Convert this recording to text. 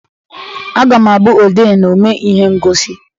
Aga m abụ odee na omee ihe ngosi